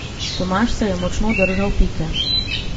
Tomaž se je močno držal Pike.